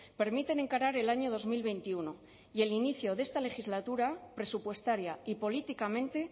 permiten encarar el año dos mil veintiuno y el inicio de esta legislatura presupuestaria y políticamente